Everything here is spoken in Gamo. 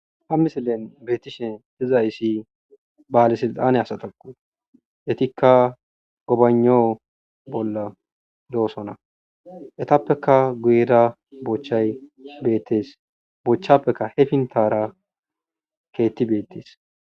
Haa missilenni bettishshe dizayis bale silitanne asatakko etikka gobanghao bolla de'osona .etappekka guyera bochayi betes.bochchapekka hee piniththara ketti betees.